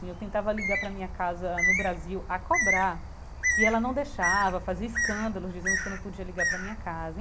Eu tentava ligar para minha casa no Brasil a cobrar e ela não deixava fazia escândalos dizendo que eu não podia ligar para minha casa.